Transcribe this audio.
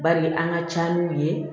Bari an ka ca n'u ye